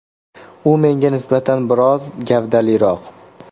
U menga nisbatan biroz gavdaliroq.